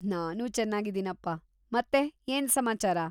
ನಾನೂ ಚೆನ್ನಾಗಿದ್ದೀನಪ್ಪಾ. ಮತ್ತೆ ಏನ್‌ ಸಮಾಚಾರ?